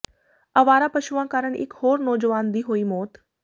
ਅਵਾਰਾ ਪਸ਼ੂਆਂ ਕਾਰਨ ਇਕ ਹੋਰ ਨੌਜਵਾਨ ਦੀ ਹੋਈ ਮੌਤ